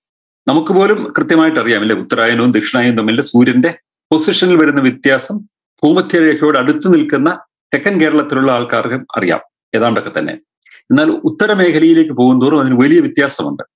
നമുക്ക് പോലും കൃത്യമായിട്ടറിയാം അല്ലെ ഉത്തരായനവും ദക്ഷിണായനവും തമ്മിലുള്ള സൂര്യൻറെ position നിൽ വരുന്ന വ്യത്യാസം ഭൂമധ്യരേഖയുടെ അടുത്ത് നിൽക്കുന്ന തെക്കൻ കേരളത്തിലുള്ള ആൾക്കാർക്കും അറിയാം ഏതാണ്ടൊക്കെ തന്നെ എന്നാൽ ഉത്തരമേഖലയിലേക്ക് പോവുംതോറും അതിന് വലിയ വ്യത്യാസമുണ്ട്